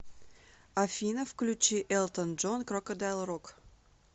афина включи элтон джон крокодайл рок